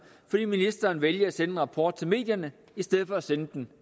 fordi ministeren valgte at sende en rapport til medierne i stedet for at sende den